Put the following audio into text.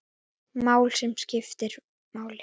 Mál, sem skiptu máli.